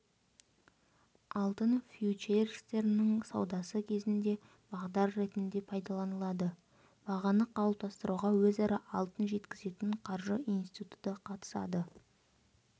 алтын фьючерстерінің саудасы кезінде бағдар ретінде пайдаланылады бағаны қалыптастыруға өзара алтын жеткізетін қаржы институты қатысады